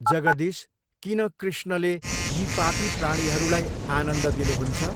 जगदीश किन कृष्णले यी पापी प्राणीहरूलाई आनन्द दिनुहुन्छ?